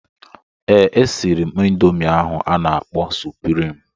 Ee, e siri m ịndomii ahụ a na-akpọ suprịm.